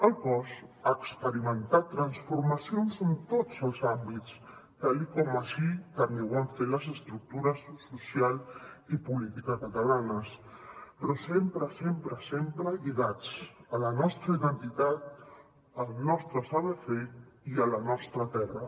el cos ha experimentat transformacions en tots els àmbits tal com així també ho van fer les estructures social i política catalanes però sempre sempre sempre lligats a la nostra identitat al nostre saber fer i a la nostra terra